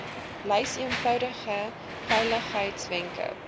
lys eenvoudige veiligheidswenke